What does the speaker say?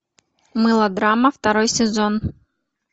мылодрама второй сезон